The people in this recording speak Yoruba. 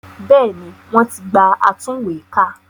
Bẹ́ẹ̀ni wọ́n ti gba atúnwèékà